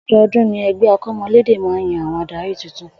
O̩do̩o̩dún ni e̩gbé̩ akò̩mo̩lédè máa ń yan àwo̩n adarí tuntun